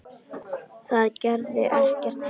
Það gerði ekkert til.